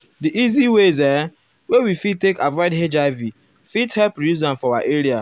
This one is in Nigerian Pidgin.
di easy ways ehm wey we fit take avoid hiv fit help reduce am for our area.